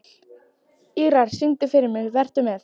Ýrar, syngdu fyrir mig „Vertu með“.